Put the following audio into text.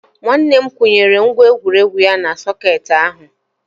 Nwanne m kwụnyere ngwa egwuregwu ya na sọkeetị ahụ